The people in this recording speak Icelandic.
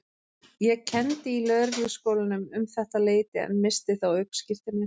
Ég kenndi í Lögregluskólanum um þetta leyti en missti þá ökuskírteinið.